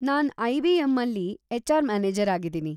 ನಾನ್‌ ಐ.ಬಿ.ಎಂ.ಅಲ್ಲಿ H. R. Manager ಆಗಿದೀನಿ.